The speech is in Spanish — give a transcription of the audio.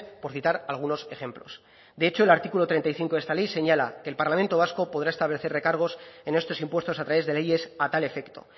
por citar algunos ejemplos de hecho el artículo treinta y cinco de esta ley señala que el parlamento vasco podrá establecer recargos en estos impuestos a través de leyes a tal efecto